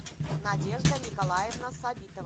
надежда николаевна сабитова